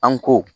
An ko